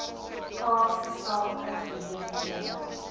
kaapse sake geleenthede